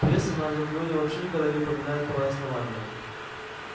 пресса на анакреоне вообще никогда не упоминает про основание